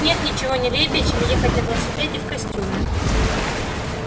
нет ничего нелепее чем ехать на велосипеде в костюме